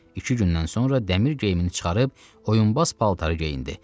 İki gündən sonra dəmir geyimini çıxarıb oyunbaz paltarı geyindi.